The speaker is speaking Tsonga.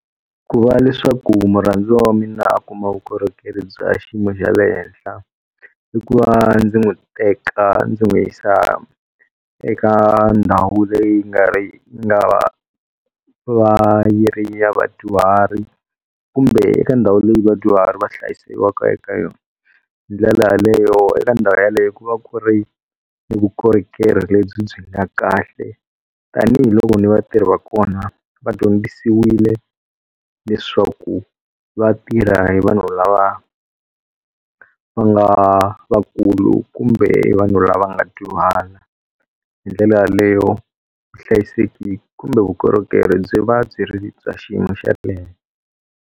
Ku va leswaku murhandziwa wa mina a kuma vukorhokeri bya xiyimo xa le henhla i ku va ndzi n'wi teka ndzi n'wi yisa eka ndhawu leyi nga ri na va yi ri ya vadyuhari kumbe eka ndhawu leyi vadyuhari va hlayisiwaka eka yona. Hi ndlela leyo eka ndhawu yaleyo ku va ku ri ni vukorhokeri lebyi byi nga kahle, tanihiloko ni vatirhi va kona va dyondzisiwile leswaku vatirha hi vanhu lava va nga vakulu kumbe hi vanhu lava nga dyuhala. Hi ndlela yaleyo vuhlayiseki kumbe vukorhokeri byi va byi ri bya xiyimo xa .